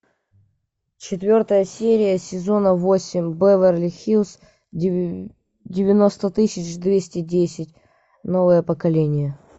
четвертая серия сезона восемь беверли хиллз девяносто тысяч двести десять новое поколение